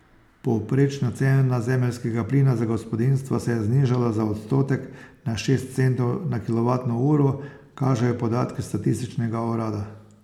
Povprečna cena zemeljskega plina za gospodinjstva se je znižala za odstotek na šest centov na kilovatno uro, kažejo podatki statističnega urada.